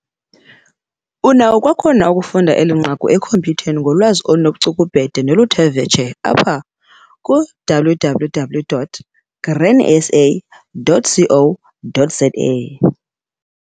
Unako kwakhona ukufunda eli nqaku ekhompyutheni ngolwazi olunobucukubhede noluthe vetshe apha- www.grainsa.co.za